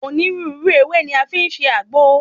Onírúurú ewé ni a fi ń ṣe àgbo.